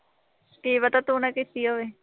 ਕੀ ਪਤਾ ਤੂੰ ਨਾ ਕੀਤੀ ਹੋਵੇ